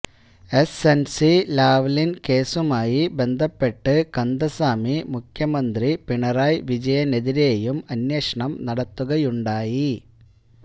SNC Lavalin കേസുമായി ബന്ധപ്പെട്ട് കന്ദസ്വാമി മുഖ്യമന്ത്രി പിണറായി വിജയനെതിരെയും അന്വേഷണം നടത്തുകയുണ്ടായി